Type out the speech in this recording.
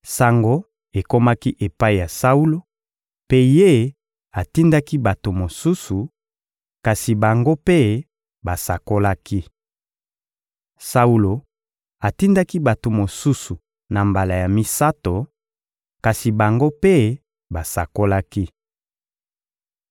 Sango ekomaki epai ya Saulo, mpe ye atindaki bato mosusu; kasi bango mpe basakolaki. Saulo atindaki bato mosusu na mbala ya misato, kasi bango mpe basakolaki.